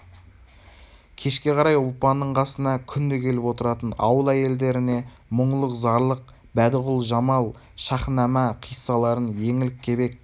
кешке қарай ұлпанның қасына күнде келіп отыратын ауыл әйелдеріне мұңлық зарлық бәдіғұл жамал шәһінама хиссаларын еңлік кебек